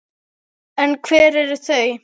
En hver eru þau?